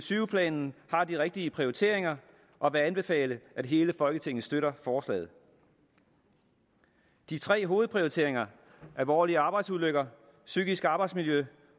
tyve planen har de rigtige prioriteringer og vil anbefale at hele folketinget støtter forslaget de tre hovedprioriteringer alvorlige arbejdsulykker psykisk arbejdsmiljø